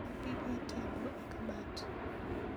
Gol gige tedo e kabat